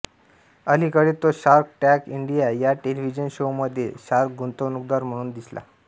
अलीकडे तो shark tank India या टेलिव्हिजन शोमध्ये शार्क गुंतवणूकदार म्हणून दिसला